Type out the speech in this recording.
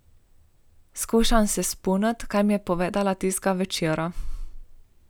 Skušam se spomniti, kaj mi je povedala tistega večera.